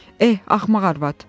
Eh, axmaq arvad!